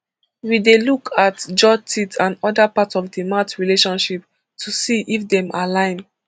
we dey look at jaw teeth and oda parts of di mouth relationship to see if dem align